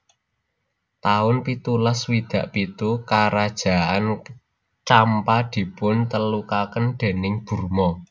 taun pitulas swidak pitu Karajaan Campa dipun telukaken déning Burma